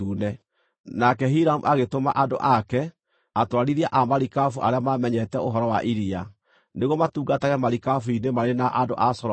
Nake Hiramu agĩtũma andũ ake, atwarithia a marikabu arĩa maamenyete ũhoro wa iria, nĩguo matungatage marikabu-inĩ marĩ na andũ a Solomoni.